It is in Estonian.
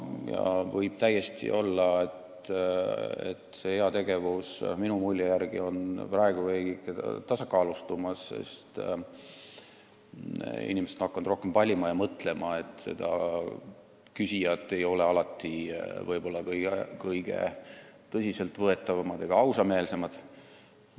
See võib täiesti olla, st ka minu mulje järgi on heategevus veidike tasakaalustumas: inimesed on hakanud rohkem valima ja mõtlema, et küsijad ei ole alati väga tõsiseltvõetavad ega ausameelsed.